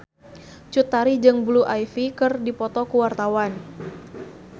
Cut Tari jeung Blue Ivy keur dipoto ku wartawan